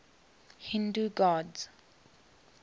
hindu gods